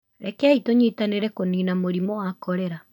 Rekei tũnyitanĩre kũniina mũrimũ wa korera.